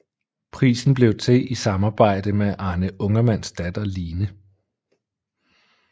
Prisen blev til i samarbejde med Arne Ungermanns datter Line